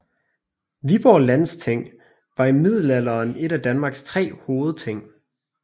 Viborg Landsting var i middelalderen et af Danmarks tre hovedting